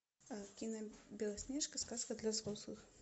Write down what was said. кино белоснежка сказка для взрослых